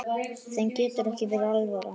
Þeim getur ekki verið alvara.